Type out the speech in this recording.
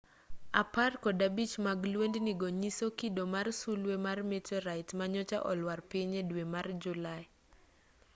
apar kod abich mag lwendni go nyiso kido mar sulwe mar meteorite manyocha olwar piny e dwe mar julai